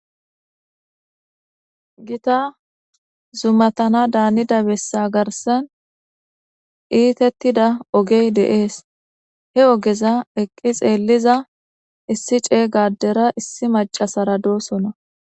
Gitta zumattana danidda bessa garssan ettetidda oggey de77ees he oggezza eqqi xelizza issi cegga addera issi maccassarra dossona